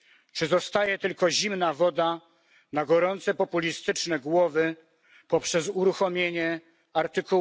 Czy zostaje tylko zimna woda na gorące populistyczne głowy poprzez uruchomienie art.